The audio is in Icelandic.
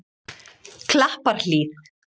Klapparhlíð